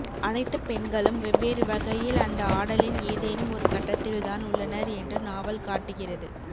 அனைத்துப் பெண்களும் வெவ்வேறுவகையில் அந்த ஆடலின் ஏதேனும் ஒருகட்டத்தில்தான் உள்ளனர் என்று நாவல் காட்டுகிறது